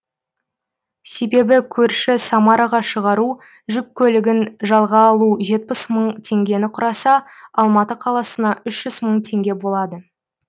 себебі көрші самараға шығару жүк көлігін жалға алу жетпіс мың теңгені құраса алматы қаласына үш жүз мың теңге болады